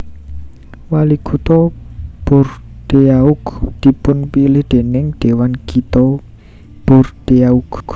Walikutha Bordeaux dipunpilih déning Dhéwan Kitha Bordeaux